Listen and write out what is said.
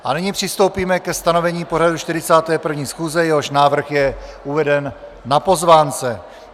A nyní přistoupíme ke stanovení pořadu 41. schůze, jehož návrh je uveden na pozvánce.